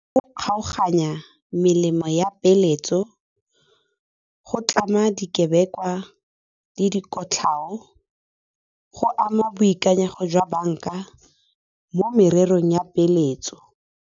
Go kgaoganya melemo ya peeletso go tlama dikebekwa le dikotlhao, go ama boikanyego jwa bank-a mo morerong ya peeletso.